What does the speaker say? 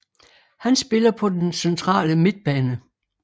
Han spiller på den centrale midtbane